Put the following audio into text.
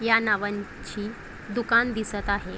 ह्या नावांची दुकान दिसत आहे.